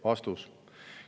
" Vastus.